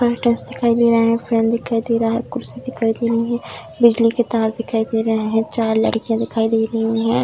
Curtains दिखाई दे रहा है फैन दिखाई दे रहा है कुर्सी दिखाई दे रही हैं बिजली के तार दिखाई दे रहे हैं चार लड़कियाँ दे रही हैं।